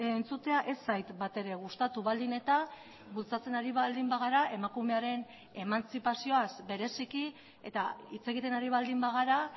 entzutea ez zait batere gustatu baldin eta bultzatzen ari baldin bagara emakumearen emantzipazioaz bereziki eta hitz egiten ari baldin bagara